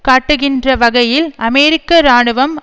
காட்டுகின்ற வகையில் அமெரிக்க இராணுவம்